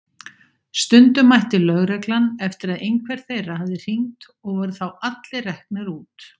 Stundum mætti lögreglan eftir að einhver þeirra hafði hringt og voru þá allir reknir út.